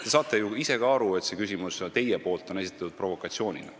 Te saate ju ise ka aru, et teie küsimus on esitatud provokatsioonina.